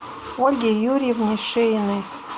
ольге юрьевне шеиной